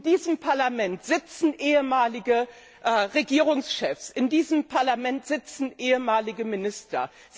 In diesem Parlament sitzen ehemalige Regierungschefs, in diesem Parlament sitzen ehemalige Minister.